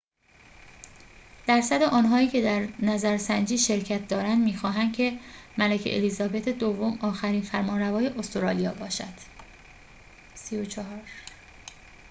۳۴ درصد آنهایی که در نظرسنجی شرکت دارند می‌خواهند که ملکه الیزابت دوم آخرین فرمانروای استرالیا باشد